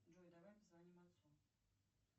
джой давай позвоним отцу